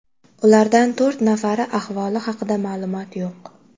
Ulardan to‘rt nafari ahvoli haqida ma’lumot yo‘q.